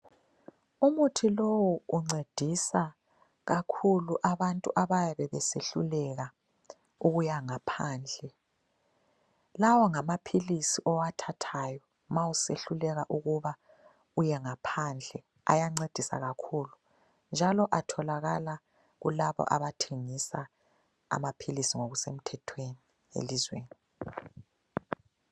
Umuthi lowu uncedisa kakhulu abantu abayabe besehluleka ukuya ngaphandle. Lawa ngamaphilisi owathathayo ma usehluleka ukuba uye ngaphandle ayancedisa kakhulu njalo atholakala kulabo abathengisa amaphilisi ngokusemthethweni elizweni.